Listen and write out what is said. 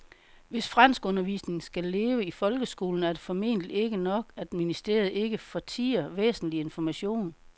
Hvis franskundervisningen skal leve i folkeskolen er det formentlig ikke nok, at ministeriet ikke fortier væsentlig information.